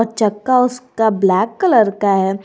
चक्का उसका black colour का है।